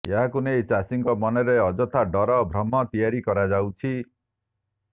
ଏହାକୁ ନେଇ ଚାଷୀଙ୍କ ମନରେ ଅଯଥା ଡର ଭ୍ରମ ତିଆରି କରାଯାଉଛି